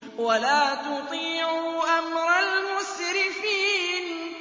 وَلَا تُطِيعُوا أَمْرَ الْمُسْرِفِينَ